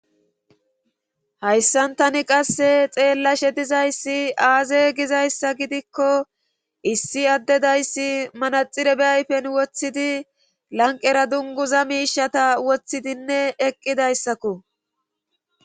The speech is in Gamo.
hayssantani qasse xeellashe dizayssi aaze gizayssa gidikko issi addedayssi manaxire be ayfen woththidi lanqera dunguza miishata woththidinne eqqidayssakko